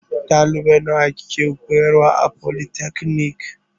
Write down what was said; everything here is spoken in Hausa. Ɗalibai nawa kike koyarwa a folitakanik?